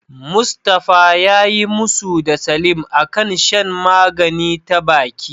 Mustafa yayi musu da Salim a kan shan magani ta baki.